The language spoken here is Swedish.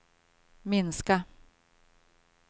minska